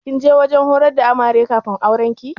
Kin je wajen horar da Amare kafin aurenki?